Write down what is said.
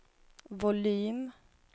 volym